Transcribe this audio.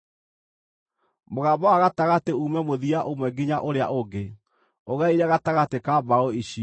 Mũgamba wa gatagatĩ uume mũthia ũmwe nginya ũrĩa ũngĩ, ũgereire gatagatĩ ka mbaũ icio.